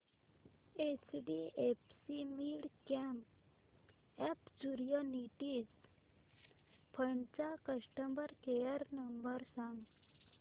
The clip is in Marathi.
एचडीएफसी मिडकॅप ऑपर्च्युनिटीज फंड चा कस्टमर केअर नंबर सांग